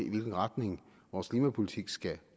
i hvilken retning vores klimapolitik skal